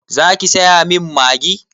Za ki saya min Maggi?